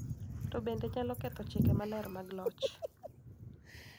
To bende nyalo ketho chike maler mag loch .